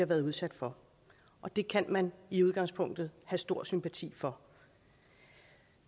været udsat for og det kan man i udgangspunktet have stor sympati for